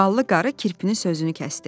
Ballı qarı kirpinin sözünü kəsdi.